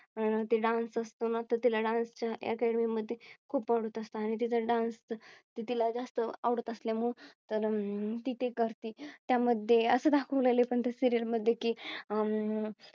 अं Dance असतो ना तो तिला Dance च्या Academy मध्ये खूप असतो आणि तिथे डान्स तर तिला जास्त आवडत असल्यामुळे तर अं ती करते. त्यामध्ये असे दाखवले पण त्या Serial मध्ये की अह